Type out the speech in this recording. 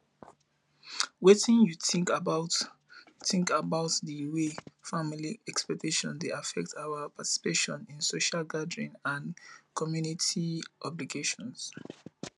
wetin you think about think about di way family expectations dey affect our participation in social gatherings and coomunity obligations